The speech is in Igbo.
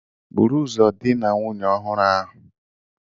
Buru ụzọ dina nwunye ọhụrụ ahụ!